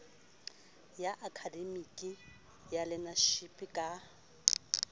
ya akademiki ya learnership ka